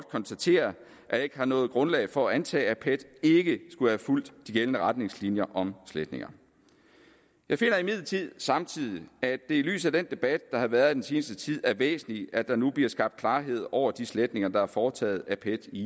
konstatere at jeg ikke har noget grundlag for at antage at pet ikke skulle have fulgt de gældende retningslinjer om sletninger jeg finder imidlertid samtidig at det i lyset af den debat der har været i den seneste tid er væsentligt at der nu bliver skabt klarhed over de sletninger der er foretaget af pet i